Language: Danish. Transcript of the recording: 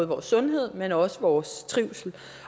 vores sundhed men også vores trivsel